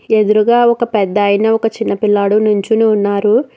ఎదురుగా ఒక పెద్దాయన ఒక చిన్న పిల్లోడు నుంచుని ఉన్నారు.